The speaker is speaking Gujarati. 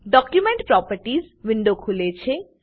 ડોક્યુમેન્ટ પ્રોપર્ટીઝ વિન્ડો ખુલે છે